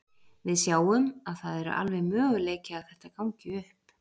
Við sjáum að það eru alveg möguleiki að þetta gangi upp.